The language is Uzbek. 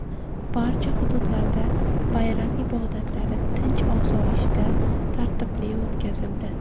Barcha hududlarda bayram ibodatlari tinch-osoyishta, tartibli o‘tkazildi.